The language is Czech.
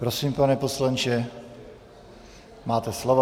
Prosím, pane poslanče, máte slovo.